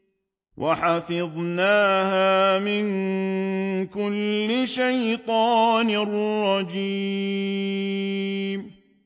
وَحَفِظْنَاهَا مِن كُلِّ شَيْطَانٍ رَّجِيمٍ